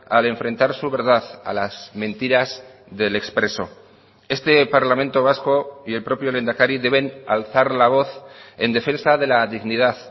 al enfrentar su verdad a las mentiras del expreso este parlamento vasco y el propio lehendakari deben alzar la voz en defensa de la dignidad